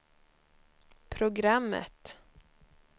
programmet